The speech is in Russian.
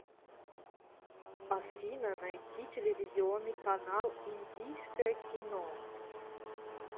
афина найти телевизионный канал индийское кино